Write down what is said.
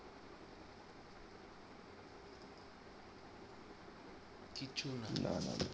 না না ন